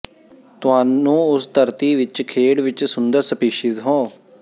ਤੁਹਾਨੂੰ ਉਸ ਧਰਤੀ ਵਿੱਚ ਖੇਡ ਵਿੱਚ ਸੁੰਦਰ ਸਪੀਸੀਜ਼ ਹੋ